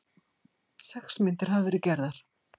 Sex myndir hafa verið gerðar